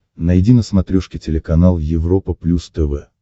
найди на смотрешке телеканал европа плюс тв